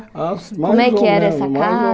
Como é que era essa